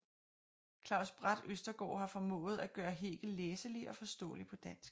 Claus Bratt Østergaard har formået at gøre Hegel læselig og forståelig på dansk